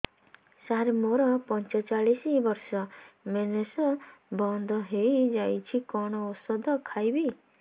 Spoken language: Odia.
ସାର ମୋର ପଞ୍ଚଚାଳିଶି ବର୍ଷ ମେନ୍ସେସ ବନ୍ଦ ହେଇଯାଇଛି କଣ ଓଷଦ ଖାଇବି